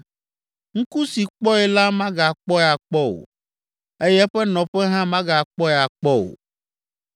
Ŋku si kpɔe la magakpɔe akpɔ o, eye eƒe nɔƒe hã magakpɔe akpɔ o.